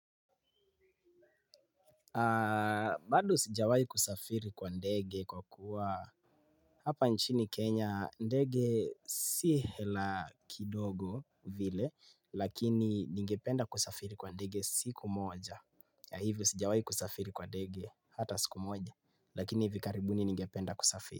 Bado sijawahi kusafiri kwa ndege kwa kuwa hapa nchini Kenya ndege si hela kidogo vile lakini ningependa kusafiri kwa ndege siku moja yeah hivyo sijawahi kusafiri kwa ndege hata siku moja lakini hivi karibuni ningependa kusafiri.